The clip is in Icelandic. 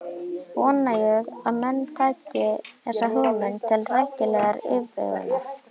Vona ég að menn taki þessa hugmynd til rækilegrar yfirvegunar.